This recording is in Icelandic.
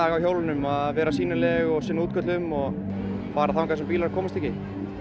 á hjólunum að vera sýnileg og fara þangað sem bílarnir komast ekki